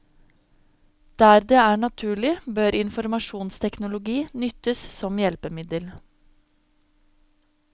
Der det er naturlig bør informasjonsteknologi nyttes som hjelpemiddel.